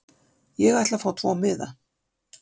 Ég ætla að fá tvo miða.